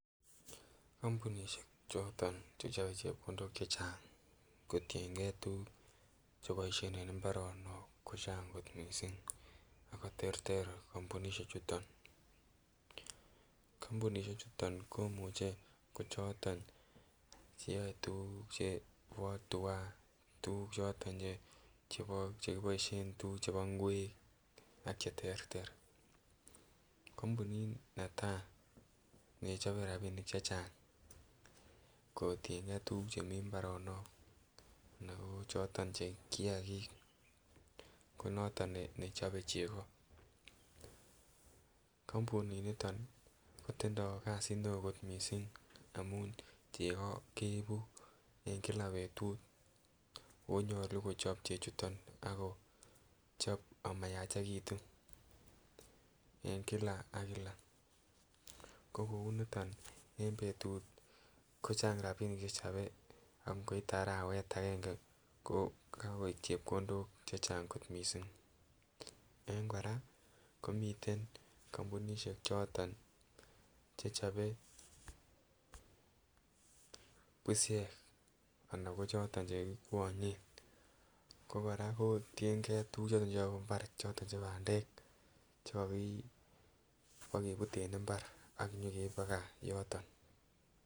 Kampunisiek choto chechobe chepkondok chechang koienge tuguk che boisien eng mbaronok ko chang kot mising ago terter kampuniechuto. Kampunisiechuton komuche ko choto cheyoe tuguk chebo tua, tuguk choto che kiboisien, tuguk chebo ingwek ak cheterter. Kampunit neta ne chobe rapinik che chang kotienge tuguk chemi mbaronok anako choto che kiagik konoto ne chobe chego. Kampuninitok kotindo kasit neo mising amun chego keibu eng kila betut oonyalu kochob chechuton agochop amayachegitun eng kila ak kila. Ko kounito en betut ko chang rapinik che chobe ak ngoite arawet agenge ko kagoik chepkondok che chang kot mising. Eng kora komiten kampunisiek che chobe pusiek anan ko choto che kikwanyen. Ko kora kotienge tuguk choto cheyabu imbar choto che bandek chekakibagebut en imbar ak inyekeib paga yoto.